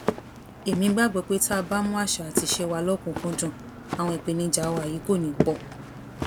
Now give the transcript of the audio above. èmi gbàgbọ pé tá a bá mú àṣà àti ìṣe wa lọkùnúnkùnúndún àwọn ìpèníjà wa yìí kò ní í pọ